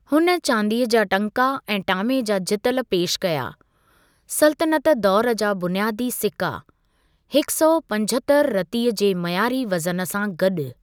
हुन चांदीअ जा टंका ऐं टामे जा जितल पेशि कया, सल्तनत दौर जा बुनियादी सिक्का, हिकु सौ पंजहतरि रतीअ जे मयारी वज़न सां गॾु।